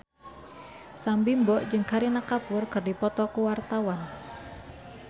Sam Bimbo jeung Kareena Kapoor keur dipoto ku wartawan